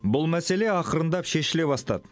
бұл мәселе ақырындап шешіле бастады